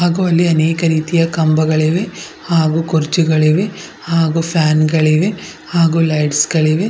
ಹಾಗು ಅನೇಕ ರೀತಿಯ ಕಂಬಗಳಿವೆ ಹಾಗು ಕುರ್ಚಿಗಳಿವೆ ಹಾಗು ಫ್ಯಾನ್ ಗಳಿವೆ ಹಾಗು ಲೈಟ್ಸ್ ಗಳಿವೆ--